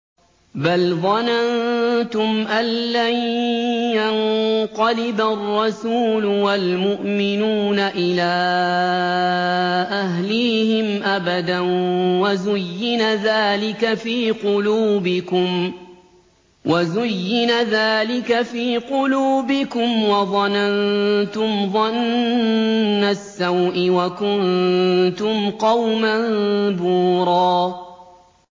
بَلْ ظَنَنتُمْ أَن لَّن يَنقَلِبَ الرَّسُولُ وَالْمُؤْمِنُونَ إِلَىٰ أَهْلِيهِمْ أَبَدًا وَزُيِّنَ ذَٰلِكَ فِي قُلُوبِكُمْ وَظَنَنتُمْ ظَنَّ السَّوْءِ وَكُنتُمْ قَوْمًا بُورًا